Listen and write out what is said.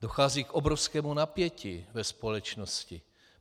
Dochází k obrovskému napětí ve společnosti.